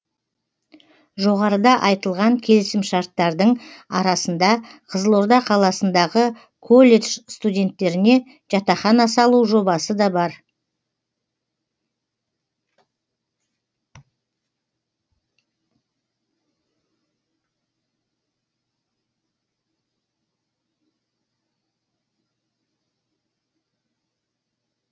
жоғарыда айтылған келісімшарттардың арасында қызылорда қаласындағы колледж студенттеріне жатақхана салу жобасы да бар